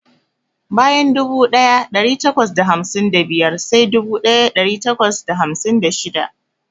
Bayan dubu daya dari takwas da hamsin da biyar sai dubu daya dari takwas da hamsin da shida.